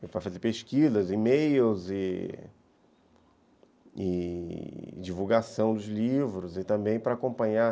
Para fazer pesquisas, e-mails e e divulgação dos livros e também para acompanhar